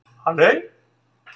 Halley